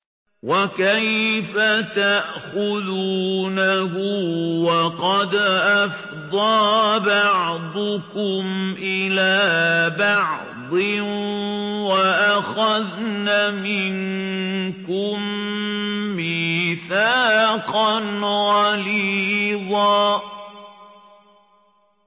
وَكَيْفَ تَأْخُذُونَهُ وَقَدْ أَفْضَىٰ بَعْضُكُمْ إِلَىٰ بَعْضٍ وَأَخَذْنَ مِنكُم مِّيثَاقًا غَلِيظًا